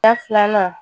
Da filanan